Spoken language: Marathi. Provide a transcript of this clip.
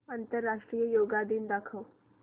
आंतरराष्ट्रीय योग दिन दाखव